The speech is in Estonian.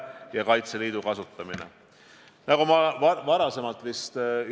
Itaalias alles eile otsustati luua uus keskus, kus on 400 reanimatsioonikohta.